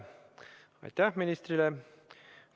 Aitäh ministrile!